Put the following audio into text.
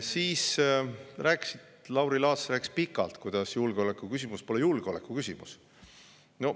Siis rääkis Lauri Laats pikalt, kuidas julgeolekuküsimus pole julgeolekuküsimus.